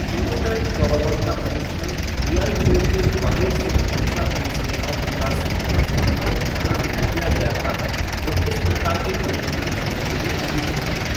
Prototype coverall का परीक्षण DRDO के ग्वालियर स्थित रक्षा अनुसंधान विकास प्रतिष्ठान प्रयोगशाला में किया गया था, जो इस प्रकार के परीक्षण करने के लिए अधिकृत है।